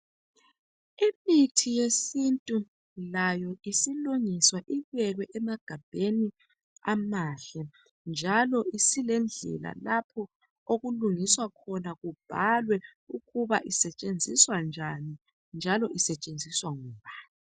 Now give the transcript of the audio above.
Imithi yesintu layo isilungiswa ibekwe emagabheni amahle njalo isilendlela lapho okulungiswa khona kubhalwe ukuba isetshenziswa njani njalo isetshenziswa ngubani.